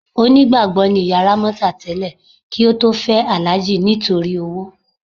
Onígbàgbọ́ ni ìyá Rámọ́tà tẹ́lẹ̀ kí ó tó fẹ́ Alhaji nítorí owó.